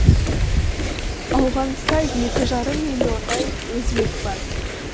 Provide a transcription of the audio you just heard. ауғанста екі жарым миллиондай өзбек бар